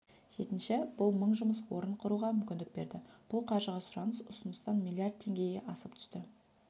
жетінші бұл мың жұмыс орнын құруға мүмкіндік берді бұл қаржыға сұраныс ұсыныстан миллиард теңгеге асып түсті